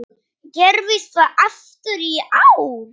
Gerðist það aftur í ár.